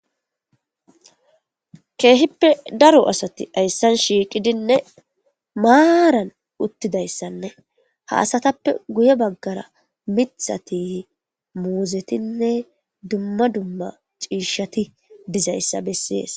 Keehippe daro asati ayssan shiiqidinne maaran uttidayssanne haasatappe guye baggara mithati muuzetinne dumma dumma ciishati dizayssa bessees.